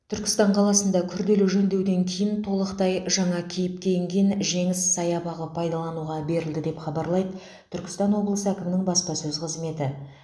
түркістан қаласында күрделі жөндеуден кейін толықтай жаңа кейіпке енген жеңіс саябағы пайдалануға берілді деп хабарлайды түркістан облысы әкімінің баспасөз қызметі